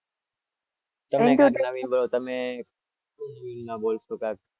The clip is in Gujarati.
તમે